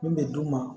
Min bɛ d'u ma